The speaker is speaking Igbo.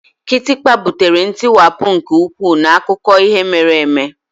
Kịtịkpa butere ntiwapụ nke ukwuu n'akụkọ ihe mere eme.